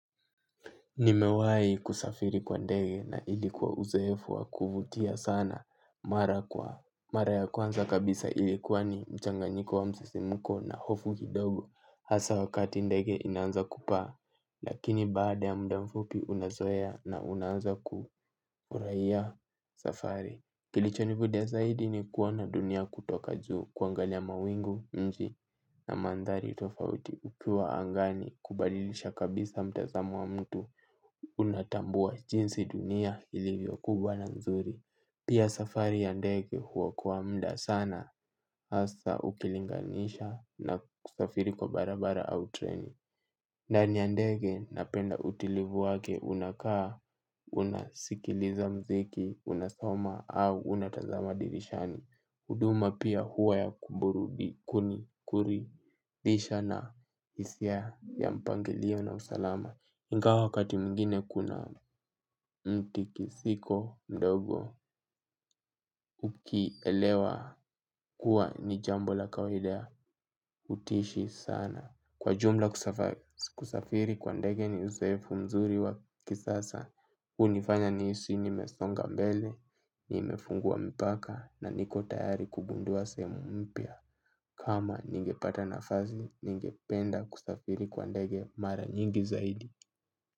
Nimewai kusafiri kwa ndege na ilikuwa uzoefu wa kuvutia sana mara kwa. Mara ya kwanza kabisa ilikuwa ni mchanganyiko wa msisimuko na hofu kidogo. Hasa wakati ndege inaanza kupaa, lakini baada ya mda mfupi unazoea na unaanza kufurahia safari. Kilichonivutia zaidi ni kuona dunia kutoka juu kuangalia mawingu mji na manthari tofauti. Ukiwa angani kubadilisha kabisa mtazamo wa mtu unatambua jinsi dunia ilivyo kubwa na mzuri. Pia safari ya ndege huokoa mda sana hasa ukilinganisha na kusafiri kwa barabara au treni. Ndani ya ndege napenda utulivu wake unakaa. Unasikiliza mziki, unasoma au unatazama dirishani huduma pia huwa ya kuburubi, kuni, kuri dhisha na hisia ya mpangilio na usalama ingawa wakati mwingine kuna mti kisiko mdogo ukielewa kuwa ni jambo la kawaida utaishi sana. Kwa jumla kusafiri kwa ndege ni uzoefu mzuri wa kisasa hunifanya nihisi nimesonga mbele, nimefungua mpaka na niko tayari kugundua sehemu mpya. Kama ningepata nafazi, ningependa kusafiri kwa ndege mara nyingi zaidi.